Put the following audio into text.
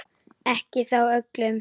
Ekki þó öllum.